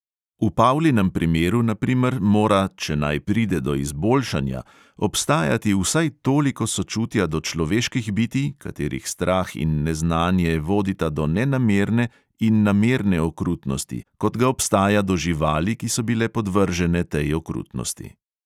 V paulinem primeru, na primer, mora, če naj pride do izboljšanja, obstajati vsaj toliko sočutja do človeških bitij, katerih strah in neznanje vodita do nenamerne in namerne okrutnosti, kot ga obstaja do živali, ki so bile podvržene tej okrutnosti.